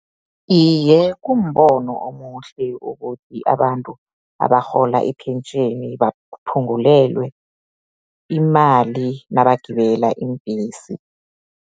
Iye, kumbono omuhle, ukuthi abantu abarhola ipentjheni, baphungulelwe imali, nabagibela iimbhesi.